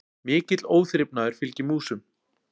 Mikill óþrifnaður fylgir músum.